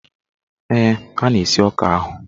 Ee, a na-esi ọka ahụ.